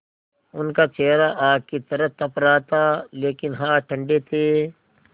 उनका चेहरा आग की तरह तप रहा था लेकिन हाथ ठंडे थे